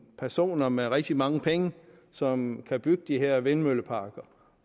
personer med rigtig mange penge som kan bygge de her vindmølleparker